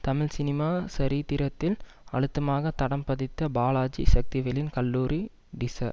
Tamil cinema சரித்திரத்தில் அழுத்தமாக தடம் பதித்த பாலாஜி சக்திவேலின் கல்லூரி டிச